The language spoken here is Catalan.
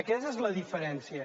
aquesta és la diferència